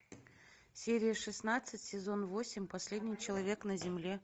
серия шестнадцать сезон восемь последний человек на земле